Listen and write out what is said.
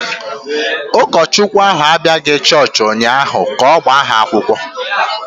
Ụkọchukwu ahụ abịaghị chọọchị ụnyahụ ka ọ gbaa ha akwụkwọ.